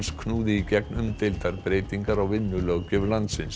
knúði í gegn umdeildar breytingar á vinnulöggjöf landsins